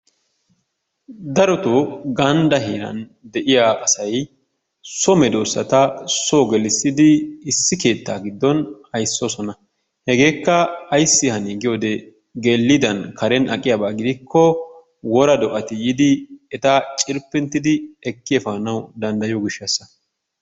Darotoo gandda heeran de'iyaa asay so medoosata soo gelissidi issi keettaa giddon ayssoosona. Hegeekka ayssi hani giyoodee geellidan karen aqiyaaba gidikko wora do"ati eta cirppinttidi eki efaanawu danddayiyo gishshaassa.